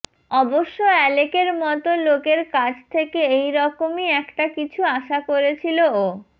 অবশ্য অ্যালেকের মত লোকের কাছ থেকে এই রকমই একটা কিছু আশা করেছিল ও